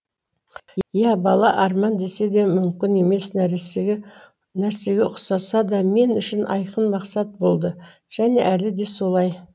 ия бала арман деседе мүмкін емес нәрсеге ұқсаса да мен үшін айқын мақсат болды және әлі де солай